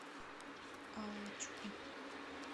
аллочку